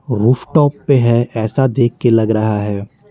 Rooftop पे है ऐसा देख के लग रहा है।